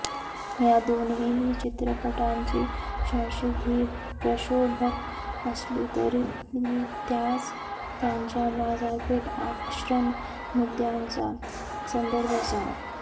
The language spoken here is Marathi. या दोन्हीही चित्रपटांची शीर्षके ही प्रक्षोभक असली तरी त्यास त्यांच्या बाजारपेठ आकर्षण मुद्दय़ांचा संदर्भ असावा